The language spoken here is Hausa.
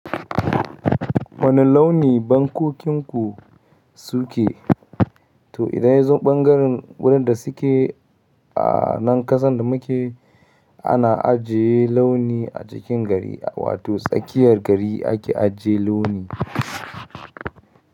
Wani launi bankokinku suke? To idan ya zo ɓangaren wurin da suke a nan kasan da muke ana ajiye launi a cikin gari, wato tsakiyar gari ake ajiye launi.